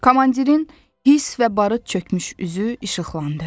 Komandirin hiss və barıt çökmüş üzü işıqlandı.